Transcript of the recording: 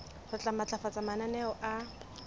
re tla matlafatsa mananeo a